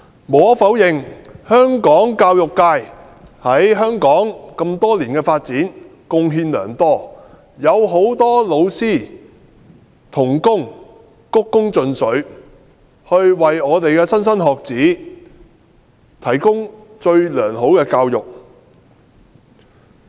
無可否認，香港教育界為香港多年來的發展貢獻良多，很多老師鞠躬盡瘁，為莘莘學子提供最良好的教育。